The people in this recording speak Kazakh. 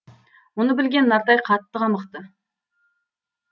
мұны білген нартай қатты қамықты